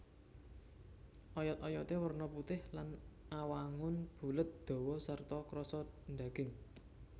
Oyot oyoté werna putih lan awangun bulet dawa sarta krasa ndaging